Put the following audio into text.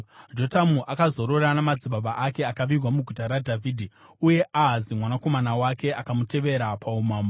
Jotamu akazorora namadzibaba ake akavigwa muGuta raDhavhidhi. Uye Ahazi mwanakomana wake akamutevera paumambo.